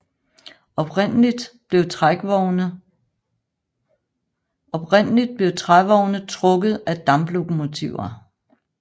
Oprindeligt blev trævogne trukket af damplokomotiver